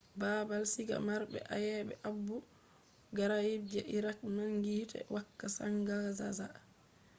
baabal siga marɓe ayebe abu ghraib je iraq nangi hite wakka zangazanga